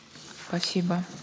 спасибо